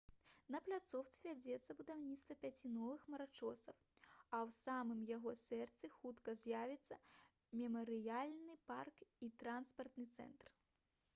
на пляцоўцы вядзецца будаўніцтва пяці новых хмарачосаў а ў самым яе сэрцы хутка з'явіцца мемарыяльны парк і транспартны цэнтр